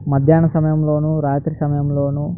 మధ్యాహ్నం సమయంలోను రాత్రి సమయంలోను --